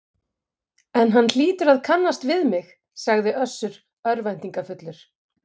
En hann hlýtur að kannast við mig, sagði Össur örvæntingarfullur.